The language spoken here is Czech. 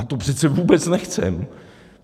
A to přece vůbec nechceme.